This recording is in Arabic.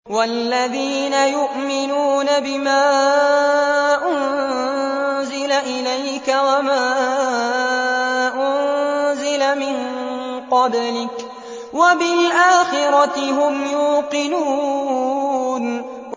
وَالَّذِينَ يُؤْمِنُونَ بِمَا أُنزِلَ إِلَيْكَ وَمَا أُنزِلَ مِن قَبْلِكَ وَبِالْآخِرَةِ هُمْ يُوقِنُونَ